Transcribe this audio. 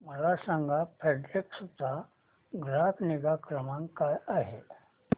मला सांगा फेडेक्स चा ग्राहक निगा क्रमांक काय आहे